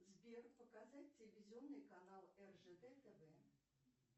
сбер показать телевизионный канал ржд тв